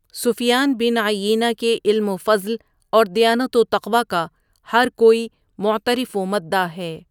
سفیان bin Uyaynah کے علم وفضل اور دیانت وتقویٰ کا ہرکوئی معترف ومداح ہے۔